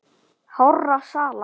hárra sala.